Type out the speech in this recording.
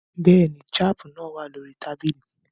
Bẹ́ẹ̀ ni, jab náà wà lórí tábìlì